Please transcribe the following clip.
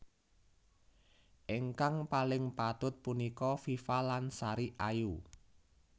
Ingkang paling patut punika Viva lan Sari Ayu